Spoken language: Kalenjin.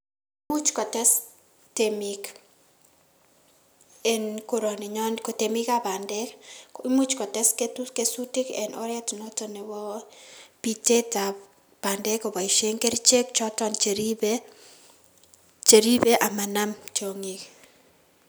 Imuch kotes temik en koroninyon kotemikab bandek imuch kotes ketusi kesutik en oret noton nebo pitetab bandek koboisien kerichek choton cheribe cheribe amanam tiong'ik.